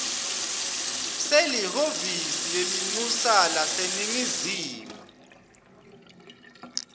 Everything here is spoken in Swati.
selihhovisi lelincusa laseningizimu